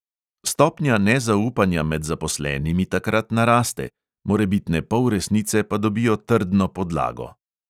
Stopnja nezaupanja med zaposlenimi takrat naraste, morebitne polresnice pa dobijo trdno podlago.